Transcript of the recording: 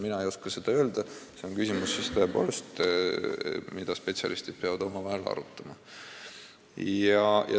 Mina ei oska seda öelda, see on tõepoolest küsimus, mida spetsialistid peavad omavahel arutama.